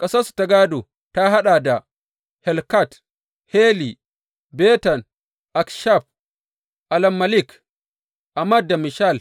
Ƙasarsu gādonsu ta haɗa da, Helkat, Hali, Beten, Akshaf, Allammelek, Amad da Mishal.